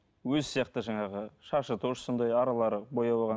өзі сияқты жаңағы шашы тоже сондай аралары бояп алған